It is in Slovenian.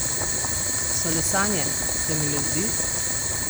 So le sanje, se mi le zdi?